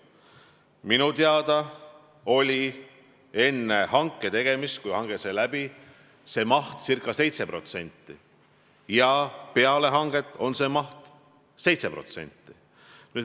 Minu teada oli enne hanget see maht ca 7% ja peale hanget on see maht 7%.